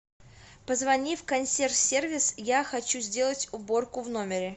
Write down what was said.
позвони в консьерж сервис я хочу сделать уборку в номере